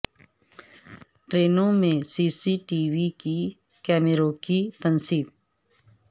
ٹرینوں میں C C T V کیمروں کی تنصیب